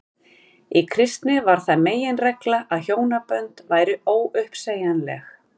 í kristni varð það meginregla að hjónabönd væru óuppsegjanleg